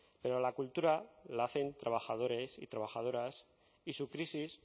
pero la cultura la hacen trabajadores y trabajadoras y su crisis